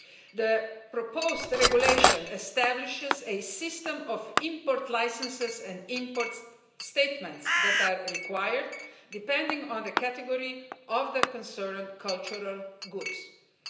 The proposed regulation establishes a system of import licences and import statements that are required, depending on the category of the cultural goods concerned.